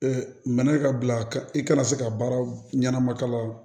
mɛn ka bila ka i kana se ka baara ɲɛnama kalan